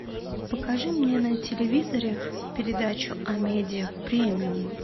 покажи мне на телевизоре передачу амедиа премиум